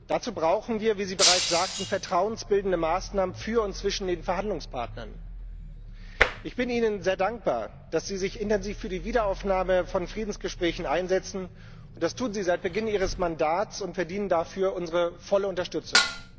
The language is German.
Dazu brauchen wir, wie Sie bereits sagten, vertrauensbildende Maßnahmen für und zwischen den Verhandlungspartnern. Ich bin Ihnen sehr dankbar, dass Sie sich intensiv für die Wiederaufnahme von Friedensgesprächen einsetzen, und das tun Sie seit Beginn Ihres Mandats und verdienen dafür unsere volle Unterstützung.